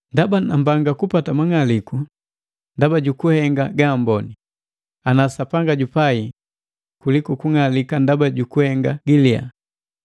Ndaba nambanga kupata mang'aliku ndaba jukuhenga gaamboni, ana Sapanga jupai, kuliku kung'alika ndaba jukuhenga giliya.